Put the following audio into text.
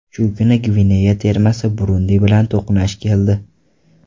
Shu kuni Gvineya termasi Burundi bilan to‘qnash keldi.